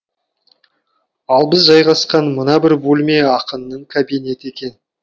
ал біз жайғасқан мына бір бөлме ақынның кабинеті екен